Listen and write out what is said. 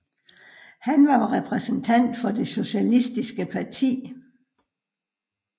Han var repræsentant for Det Socialistiske Parti